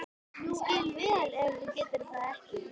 Ég skil vel ef þú getur það ekki.